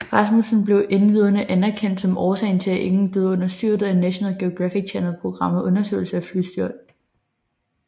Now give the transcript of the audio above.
Rasmussen blev endvidere anerkendt som årsagen til at ingen døde under styrtet af National Geographic Channel programmet Undersøgelse af flystyrt